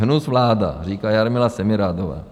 Hnus vláda, říká Jarmila Semirádová.